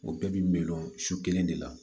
O bɛɛ bi miliyɔn su kelen de la